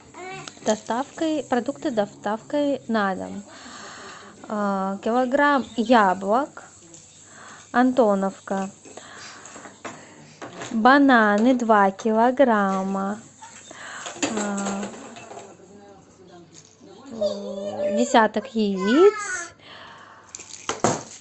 с доставкой продукты с доставкой на дом килограмм яблок антоновка бананы два килограмма десяток яиц